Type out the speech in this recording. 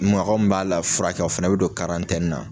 Mɔgɔ min b'a la furakɛ fana bɛ don na.